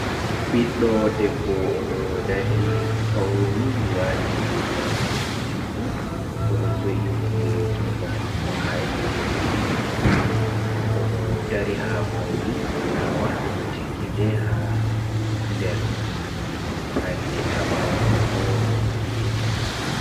Ɓiɗɗo debbo oɗo dari fauni wati rigawol mako juɗɗum odo jo’i ndiri jungo mako ha yeso oɗo dari ha kombi fulawa be do tikkide ha nder panɗe haɓawo man bo don gene.